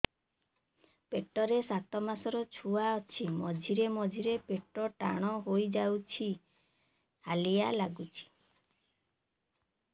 ପେଟ ରେ ସାତମାସର ଛୁଆ ଅଛି ମଝିରେ ମଝିରେ ପେଟ ଟାଣ ହେଇଯାଉଚି ହାଲିଆ ଲାଗୁଚି